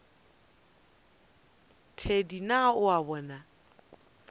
thedi na o a bona